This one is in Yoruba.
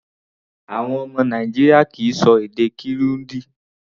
Àwọn ọmọ Nàìjíríà kì í ṣọ èdè Kirundi.